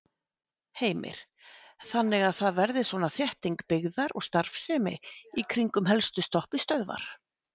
Heimir: Þannig að það verði svona þétting byggðar og starfsemi í kringum helstu stoppistöðvar?